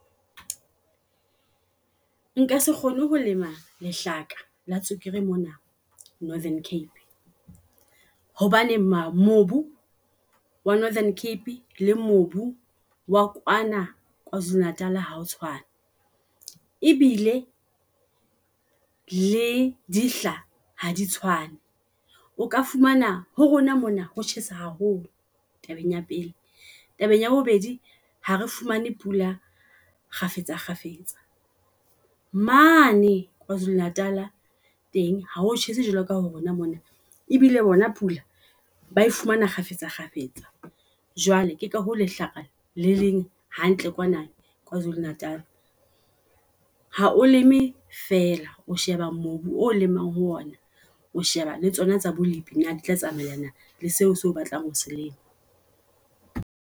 Nka se kgone ho lema lehlaka la tswekere mona Northern Cape. Hobane mobu wa Northern Cape le mobu wa kwana Kwazulu Natal ha o tshwane. E bile le dihla ha di tshwane. O ka fumana ho rona mona ho tjhesa haholo tabeng ya pele. Tabeng ya bobedi ha re fumane pula kgafetsa kgafetsa. Mane Kwazulu Natal teng ha o tjhese jwalo ka ho rona mona, ebile bona pula bae fumana kgafetsa kgafetsa. Jwale ke ka ho lehlaka le leng hantle kwana Kwazulu Natal. Ha o leme fela, o sheba mobu o lemang ho ona. O sheba le tsona tsa bolipi na di tla tsamaelana le seo se batlang ho selema.